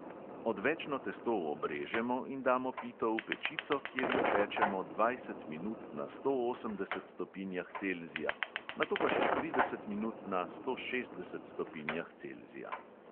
Odvečno testo obrežemo in damo pito v pečico, kjer jo pečemo dvajset minut na sto osemdeset stopinjah celzija, nato pa še trideset minut na sto šestdeset stopinjah celzija.